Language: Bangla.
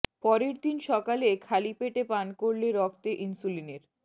পরের দিন সকালে খালি পেটে পান করলে রক্তে ইনসুলিনের